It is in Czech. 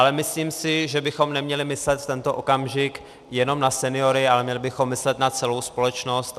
Ale myslím si, že bychom neměli myslet v tento okamžik jenom na seniory, ale měli bychom myslet na celou společnost.